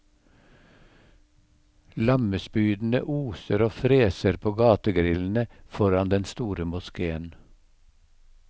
Lammespydene oser og freser på gategrillene foran den store moskéen.